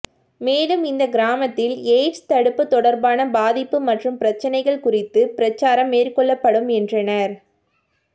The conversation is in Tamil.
மேலும் இந்த கிராமத்தில் எய்ட்ஸ் தடுப்பு தொடர்பான பாதிப்பு மற்றும் பிரச்னைகள் குறித்து பிரசாரம் மேற்கொள்ளப்படும் என்றனர்